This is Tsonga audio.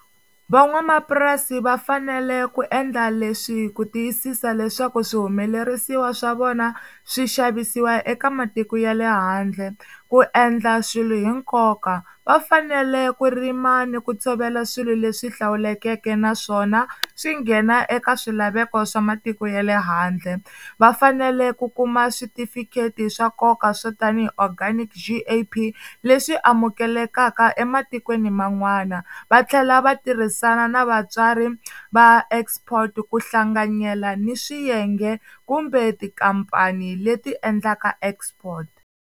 Van'wamapurasi va fanele ku endla leswi ku tiyisisa leswaku swihumelerisiwa swa vona swi xavisiwa eka matiko ya le handle, ku endla swilo hi nkoka va fanele ku rima ni ku tshovela swilo leswi hlawulekeke naswona swi nghena eka swilaveko swa matiko ya le handle, vafanele ku kuma switifikheti swa nkoka swo tanihi Organic G_A_P leswi amukelekaka ematikweni man'wana va tlhela va tirhisana na vatswari va export ku hlanganyela ni swiyenge kumbe tikhampani leti endlaka export.